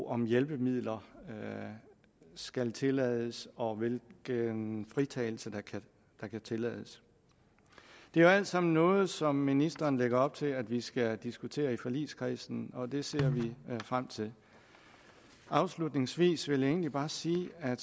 om hjælpemidler skal tillades og hvilken fritagelse der kan tillades det er alt sammen noget som ministeren lægger op til at vi skal diskutere i forligskredsen og det ser vi frem til afslutningsvis vil jeg egentlig bare sige at